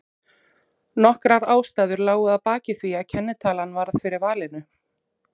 Nokkrar ástæður lágu að baki því að kennitalan varð fyrir valinu.